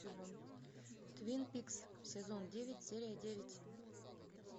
твин пикс сезон девять серия девять